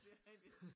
Det rigtig